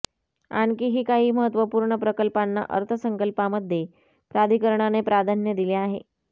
आणखीही काही महत्वपूर्ण प्रकल्पांना अर्थसंकल्पामध्ये प्राधिकरणाने प्राधान्य दिले आहे